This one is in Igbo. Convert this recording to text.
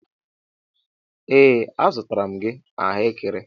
Ee a zụtara m gị ahụekere.